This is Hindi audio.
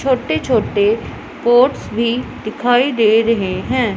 छोटे छोटे पोट्स भी दिखाई दे रहे हैं।